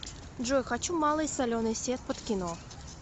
джой хочу малый соленый сет под кино